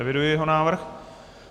Eviduji jeho návrh.